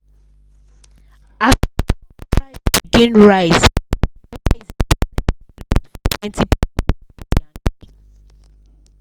as drug price begin rise e rise e turn heavy load for plenty people house for yankee